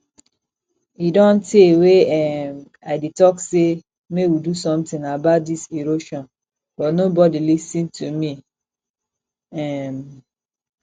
e don tey wey um i dey talk say make we do something about dis erosion but nobody lis ten to me um